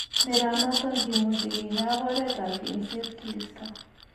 Neranoton kimuche kinyaa ak oret ap yengset kiisto.